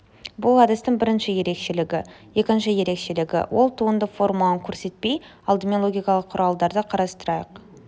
бұл әдістің бірінші ерекшелігі екінші ерекшелігі ол туынды формуланы көрсетпей алдымен логикалық құралдарды қарастырайық